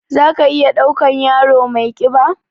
Za ka iya ɗaukan yaro mai ƙiba?